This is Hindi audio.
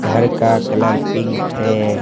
घर का कलर पिंक है।